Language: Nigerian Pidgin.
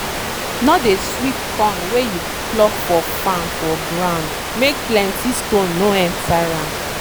no dey sweep corn wey you pluck for farm for gound make plenty stone no enter am.